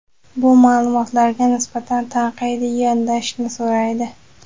bu maʼlumotlarga nisbatan tanqidiy yondashishni so‘raydi.